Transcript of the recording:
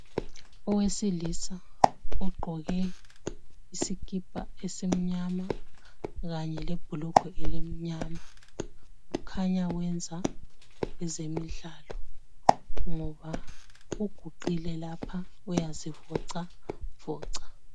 Owesilisa ogqoke isikipa esimnyama kanye lebhulugwe elimnyama khanya wenza ezemidlalo ngoba uguqile lapha uyazivocavoca.